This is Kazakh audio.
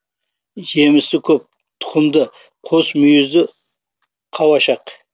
жемісі көп тұқымды қос мүйізді қауашақ